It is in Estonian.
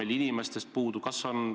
Kas on inimesi puudu?